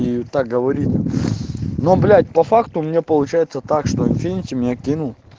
и так говорит но блять по факту у меня получается так что инфинити меня кинул